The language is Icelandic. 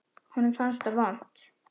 Honum fannst það vont.